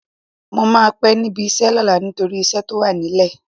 Mo máa pẹ́ níbi iṣẹ́ lọ́la nítorí iṣẹ́ tó wà nílẹ̀.